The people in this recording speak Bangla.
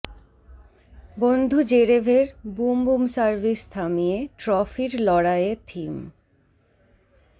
বন্ধু জেরেভের বুম বুম সার্ভিস থামিয়ে ট্রফির লড়াইয়ে থিম